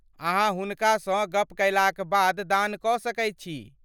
अहाँ हुनकासँ गप कयलाक बाद दान कऽ सकैत छी।